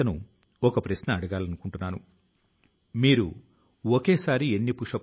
పట్టణ వ్యవహారాల మంత్రిత్వ శాఖ క్లీన్ ఏటీఎమ్ ను కూడా ఏర్పాటు చేసింది